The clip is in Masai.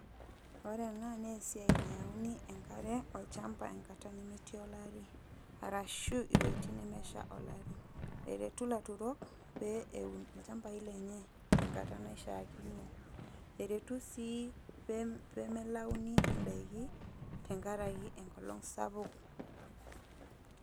Ore ena naa esiai nayauni enkare olchamba enkata nemetii olari, arashu iwojitin nemesha olari. Eretu ilaturok pee eun ilchambai lenye tenkata naishaakino, eretu sii peemelauni indaiki tenkaraki enkolong' sapuk.